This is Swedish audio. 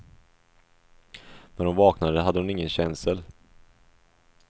När hon vaknade hade hon ingen känsel.